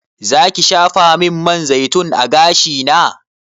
Zaki shafamin man zaitun a gashina?